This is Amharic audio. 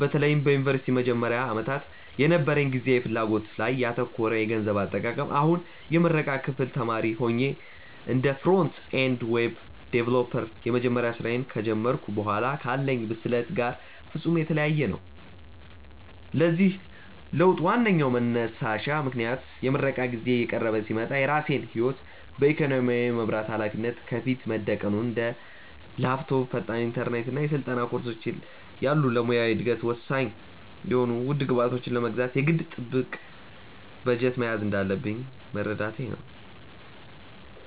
በተለይም በዩኒቨርሲቲ መጀመሪያ ዓመታት የነበረኝ ጊዜያዊ ፍላጎት ላይ ያተኮረ የገንዘብ አጠቃቀም አሁን የምረቃ ክፍል ተማሪ ሆኜ እና እንደ ፍሮንት-ኤንድ ዌብ ዲቨሎፐር የመጀመሪያ ስራዬን ከጀመርኩ በኋላ ካለኝ ብስለት ጋር ፍጹም የተለያየ ነው። ለዚህ ለውጥ ዋነኛው መንሳሽ ምክንያት የምረቃ ጊዜዬ እየቀረበ ሲመጣ የራሴን ህይወት በኢኮኖሚ የመምራት ሃላፊነት ከፊቴ መደቀኑ እና እንደ ላፕቶፕ፣ ፈጣን ኢንተርኔት እና የስልጠና ኮርሶች ያሉ ለሙያዊ እደገቴ ወሳኝ የሆኑ ውድ ግብዓቶችን ለመግዛት የግድ ጥብቅ በጀት መያዝ እንዳለብኝ መረዳቴ ነው።